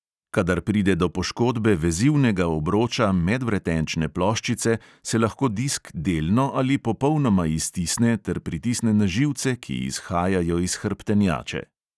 Kadar pride do poškodbe vezivnega obroča medvretenčne ploščice, se lahko disk delno ali popolnoma iztisne ter pritisne na živce, ki izhajajo iz hrbtenjače.